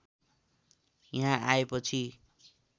यहाँ आएपछि